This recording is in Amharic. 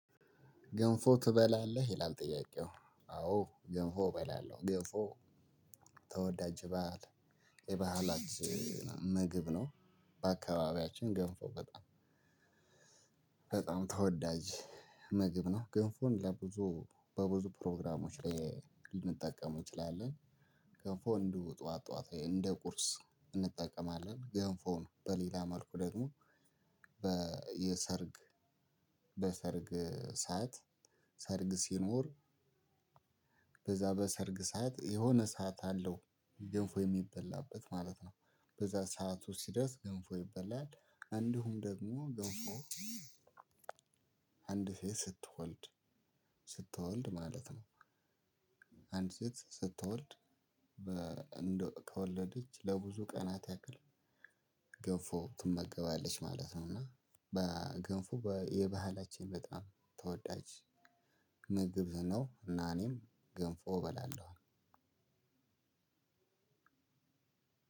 ገንፎ ትበላለህ ይላል? ጥያቄው አዎ ገንፎ እበላለሁ ገንፎ ተወዳጅ በዓል የባህላት ምግብ ነው በአካባቢያችን ገንፎ በጣም በጣም ተወዳጅ ምግብ ነው። ግንፎን ለብዙ በብዙ ፕሮግራሞች ላይ ልንጠቀም እንችላለን። ገንፎ እንደው ጠዋት ጠዋት ላይ እንደ ቁርስ እንጠቀማለን። ገንፎውን በሌላ መልኩ ደግሞ በየሰርግ በሰርግ ሰዓት ሰርግ ሲኖር በዛ በሰርግ ሰዓት የሆነ ሰዓት አለው ገንፎ የሚበላበት ማለት ነው። በዛ ሰዓቱ ሲደርስ ገንፎ ይበላል። እንዲሁም ደግሞ ገንፎ አንድ ሴት ስትወልድ ስትወልድ ማለት ነው። አንድ ሴት ስትወልድ ከወለደች ለብዙ ቀናት ያክል ገንፎ ትመገባለች ማለት ነው። እና በገንፎ የባህላችን በጣም ተወዳጅ ምግብ ነው። እና እኔም ገንፎ እበላለሁኝ።